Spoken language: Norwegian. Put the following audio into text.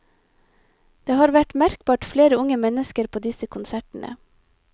Det har vært merkbart flere unge mennesker på disse konsertene.